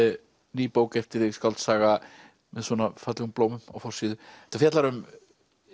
ný bók eftir þig skáldsaga með svona fallegum blómum á forsíðu þetta fjallar um